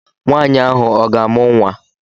Nwaanyị ahụ ọ ga-amụ nwa?